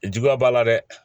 Juguya b'a la dɛ